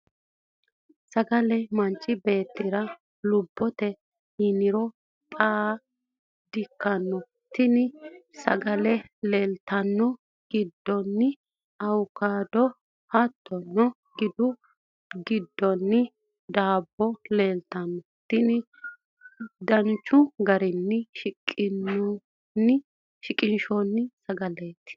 sagale manchi beettira lubbote yiniro xara di ikkino, tini sagale laalote giddonni awukaado, hattono gidu giddonni daabbo leeltanno, tini danchu garinni qixxeessinoonni qurseeti.